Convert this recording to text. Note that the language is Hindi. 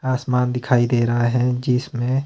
आसमान दिखाई दे रहा है जिसमें--